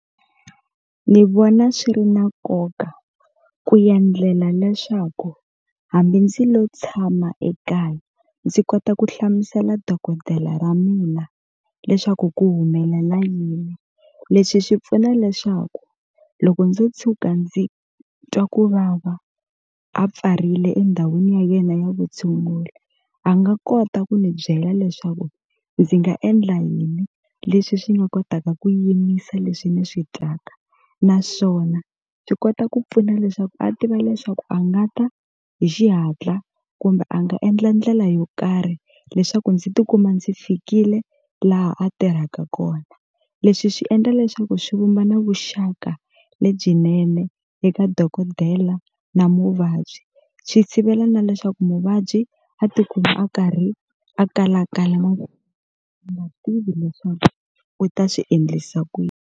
Ni vona swi ri na nkoka ku endlela leswaku hambi ndzi lo tshama ekaya ndzi kota ku hlamusela dokodela ra mina leswaku ku humelela yini leswi swi pfuna leswaku loko ndzo tshuka ndzi twa ku vava a pfarile endhawini ya yena ya vutshunguri a nga kota ku ni byela leswaku ndzi nga endla yini leswi swi nga kotaka ku yimisa leswi ni swi twaka naswona byi kota ku pfuna leswaku a tiva leswaku a nga ta hi xihatla kumbe a nga endla ndlela yo karhi leswaku ndzi tikuma ndzi fikile laha a tirhaka kona leswi swi endla leswaku swi vumba na vuxaka lebyinene eka dokodela na muvabyi swi sivela na leswaku muvabyi a tikuma a karhi a kalakala a nga tivi leswaku u ta swi endlisa ku .